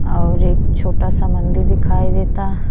और एक छोटा सा मंदिर दिखाई देता।